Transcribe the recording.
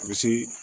A bɛ se